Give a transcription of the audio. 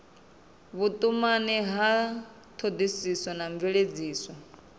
vhutumani ya thodisiso na mveledziso